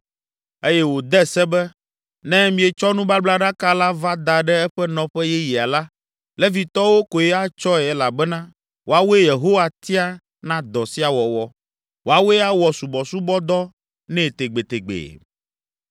eye wòde se be, “Ne mietsɔ nubablaɖaka la va da ɖe eƒe nɔƒe yeyea la, Levitɔwo koe atsɔe elabena woawoe Yehowa tia na dɔ sia wɔwɔ; woawoe awɔ subɔsubɔdɔ nɛ tegbetegbee.”